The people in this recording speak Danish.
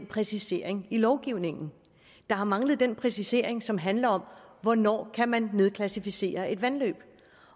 præcisering i lovgivningen der har manglet den præcisering som handler om hvornår kan man nedklassificere et vandløb